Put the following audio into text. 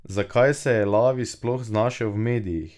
Zakaj se je Lavi sploh znašel v medijih?